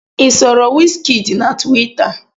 I soro wizkid na tuwita?